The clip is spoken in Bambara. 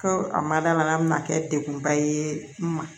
Ko a ma dala min na kɛ degunba ye n ma